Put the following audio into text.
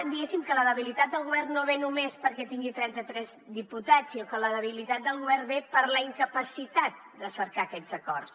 diguéssim que la debilitat del govern no ve només perquè tingui trenta tres diputats sinó que la debilitat del govern ve per la incapacitat de cercar aquests acords